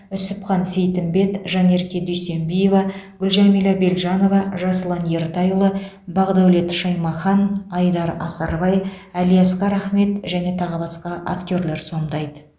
үсіпхан сейтімбет жанерке дүйсембиева гүлжәмилә белжанова жасұлан ертайұлы бақдәулет шаймахан айдар асарбай әлиасқар ахмет және тағы басқа актерлар сомдайды